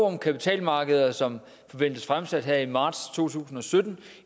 om kapitalmarkeder som forventes fremsat her i marts to tusind og sytten